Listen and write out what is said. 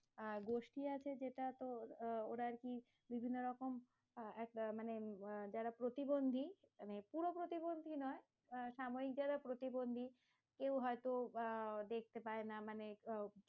আর গোষ্ঠী আছে, যেটা তোর আহ ওরা আরকি বিভিন্ন রকম আহ একটা মানে আহ যারা প্রতিবন্ধী, মানে পুরো প্রতিবন্ধী নয় আহ সাময়িক যারা প্রতিবন্ধী, কেউ হয়তো আহ দেখতে পায়না মানে